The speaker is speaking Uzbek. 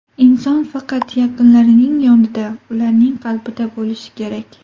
Inson faqat yaqinlarining yonida, ularning qalbida bo‘lishi kerak.